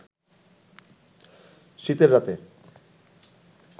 শীতের রাতে